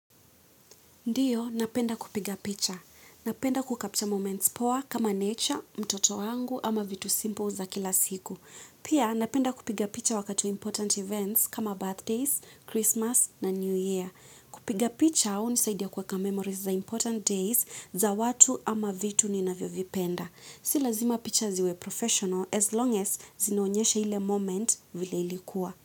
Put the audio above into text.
Ndiyo, napenda kupiga picha. Napenda kucapture moments poa kama nature, mtoto wangu ama vitu simple za kila siku. Pia, napenda kupiga picha wakati wa important events kama birthdays, Christmas na New Year. Kupiga picha hunisaidia kuweka memories za important days za watu ama vitu ninavyovipenda. Si lazima picha ziwe professional as long as zinaonyesha ile moment vile ilikuwa.